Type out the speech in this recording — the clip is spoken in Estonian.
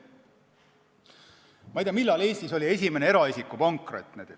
Ma ei tea, millal oli Eestis esimene eraisiku pankrot.